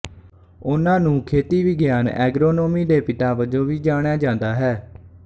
ਉਹਨਾਂ ਨੂੰ ਖੇਤੀ ਵਿਗਿਆਨ ਐਗਰੋਨੋਮੀ ਦੇ ਪਿਤਾ ਵਜੋਂ ਵੀ ਜਾਣਿਆ ਜਾਂਦਾ ਹੈ